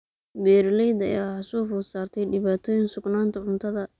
Beeralayda ayaa waxaa soo food saartay dhibaatooyin sugnaanta cuntada.